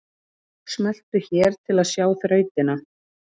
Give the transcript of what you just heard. Smelltu hér til að sjá þrautina